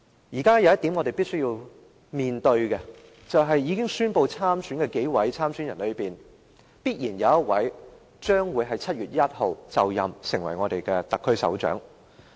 現時有一點是我們必須面對的，就是在已經宣布參選的人之中，必然有一位於7月1日就任成為特區首長。